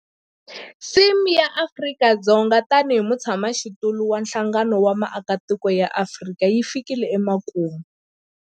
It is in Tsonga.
Theme ya Afrika-Dzonga tanihi mutshamaxitulu wa Nhlangano wa Matiko ya Afrika yi fikile emakumu.